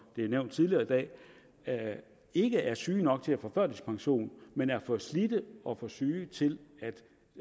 det er nævnt tidligere i dag ikke er syge nok til at få førtidspension men er for slidte og for syge til